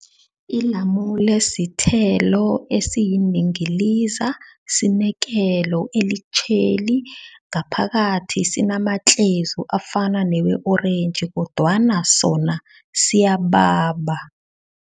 Ilamule sithelo esiyindingiliza. Sinekelo elitjheli ngaphakathi, sinamatlezu afana newe-orentji kodwana sona siyababa.